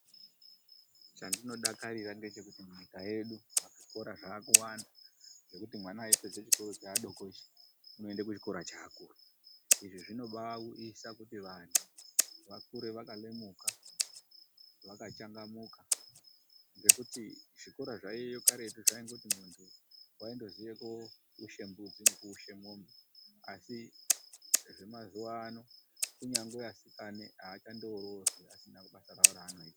Chandinodakarira ngechekuti nyika yedu zvikora zvaakuwanda. Zvekuti mwana eipedza chikora cheadoko ichi, unoenda kuchikora cheakuru. Izvi zvinobaauyisa kuti vandhu vakure vakalemuka; vakachangamuka. Ngekuti zvikora zvaiyeyo karetu zvaingoti mundhu waindoziya kooushe mbudzi nekuushe mwombe. Asi zvemazuwa ano kunyangwe asikane aachandoroorwi asinawo basa rawo raanoita.